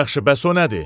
Yaxşı, bəs o nədir?